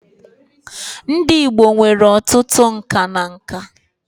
Ndị Igbo nwere ọtụtụ nka na nka